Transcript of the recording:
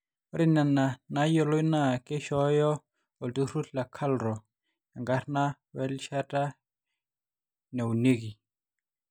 ore nena naayioloi naa keishooyo olturrur le KALRO enkarna werishata naunieki